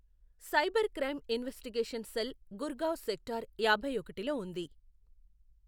Cyber crime investigation cell Gurgaon sector యాభై ఒకటిలో ఉంది.